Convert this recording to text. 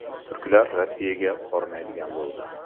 Turklar Rossiyaga bormaydigan bo‘ldi.